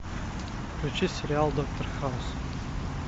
включи сериал доктор хаус